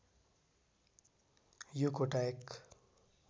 यो कोटायक